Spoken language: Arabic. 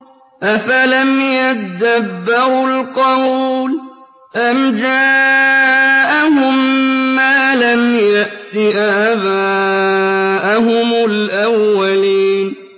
أَفَلَمْ يَدَّبَّرُوا الْقَوْلَ أَمْ جَاءَهُم مَّا لَمْ يَأْتِ آبَاءَهُمُ الْأَوَّلِينَ